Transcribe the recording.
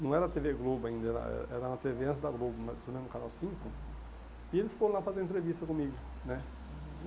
não era a tê vê Globo ainda, era era uma tê vê antes da Globo, mas você lembra do canal cinco, aham, e eles foram lá fazer entrevista comigo, né? Uhum